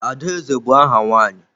Adaeze bụ áhà nwaanyị.